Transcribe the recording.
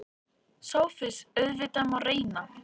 SOPHUS: Auðvitað má reyna.